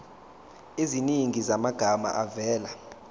eziningi zamagama avela